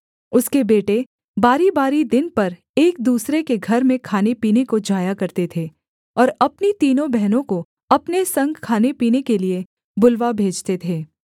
उसके बेटे बारीबारी दिन पर एक दूसरे के घर में खानेपीने को जाया करते थे और अपनी तीनों बहनों को अपने संग खानेपीने के लिये बुलवा भेजते थे